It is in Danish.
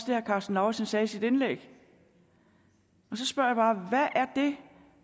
herre karsten lauritzen sagde i sit indlæg så spørger jeg bare hvad er det